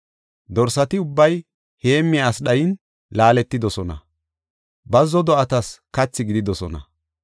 Dorsati ubbay heemmiya asi dhayin laaletidosona; bazzo do7atas kathi gididosona.